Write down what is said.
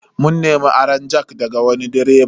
Mun nemi aron jack daga wani direba.